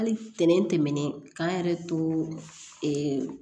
Hali ntɛnɛn tɛmɛnen k'an yɛrɛ to